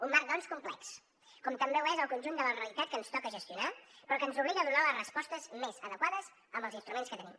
un marc doncs complex com també ho és el conjunt de la realitat que ens toca gestionar però que ens obliga a donar les respostes més adequades amb els instruments que tenim